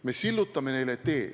Me sillutame neile tee.